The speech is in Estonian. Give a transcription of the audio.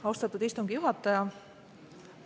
Austatud istungi juhataja!